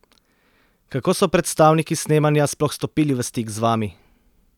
Kako so predstavniki snemanja sploh stopili v stik z vami?